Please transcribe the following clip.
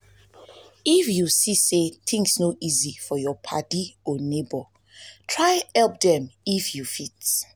if yu see say tins no easy for yur padi or neibor try help dem if um yu fit